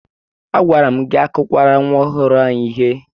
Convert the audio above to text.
Agwara m gị akụkwala nwa ọhụrụ ahụ ihe!